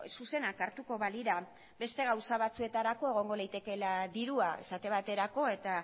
zuzenak hartuko balira beste gauza batzuetarako egongo litekeela dirua esate baterako eta